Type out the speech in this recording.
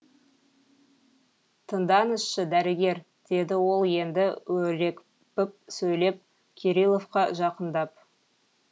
тыңдаңызшы дәрігер деді ол енді өрекпіп сөйлеп кириловқа жақындап